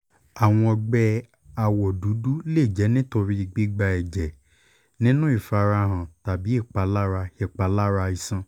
awọn ọgbẹ awọ dudu le jẹ nitori gbigba ẹjẹ ninu ifarahan tabi ipalara ipalara iṣan